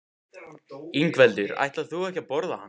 Ingveldur: Ætlar þú ekki að borða hann?